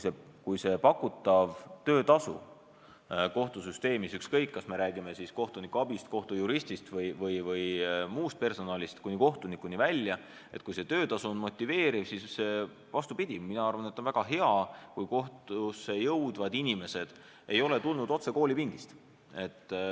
Kui pakutav töötasu kohtusüsteemis – ükskõik, kas me räägime kohtunikuabist, kohtujuristist või muust personalist kuni kohtunikuni välja – on motiveeriv, siis vastupidi, mina arvan, et on väga hea, kui kohtusse tööle tulevad inimesed ei ole tulnud otse koolipingist.